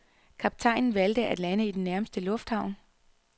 Kaptajnen valgte at lande i den nærmeste lufthavn.